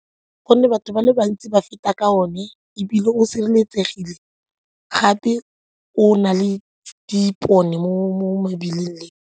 Gonne batho ba le bantsi ba feta ka one ebile o sireletsegile gape o na le dipone mo mebileng.